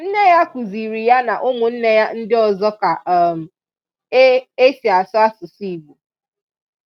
Nne ya kụziri ya na ụmụnne ya ndị ọzọ ka um e e si asụ asụsụ Igbo.